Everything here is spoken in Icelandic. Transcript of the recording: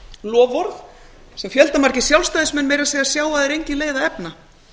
loforð sem fjöldamargir sjálfstæðismenn meira að segja sjá að er engin leið að efna